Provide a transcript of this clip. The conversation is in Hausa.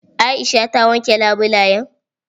Aisha ta wanke labulayan?